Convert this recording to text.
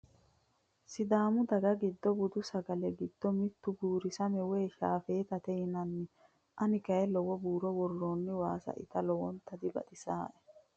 Sidaamu daga giddo budu sagale giddo mittu buurisame woyi shaafetate yinanni. Ane kayii lowo buuro worroonni waasa ita lowota dibaxisaae.